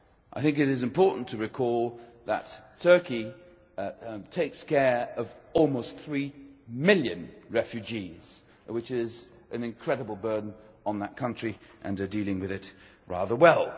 I think it is important to recall that Turkey takes care of almost three million refugees, which is an incredible burden for that country and are dealing with it rather well.